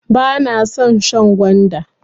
Bana son shan gwanda.